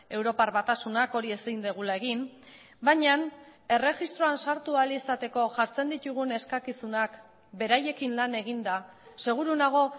europar batasunak hori ezin dugula egin baina erregistroan sartu ahal izateko jartzen ditugun eskakizunak beraiekin lan eginda seguru nago